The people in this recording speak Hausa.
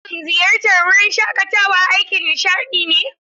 Shin ziyartar wurin shaƙatawa aikin nishaɗi ne?